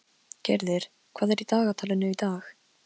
Gyrðir, hvað er í dagatalinu í dag?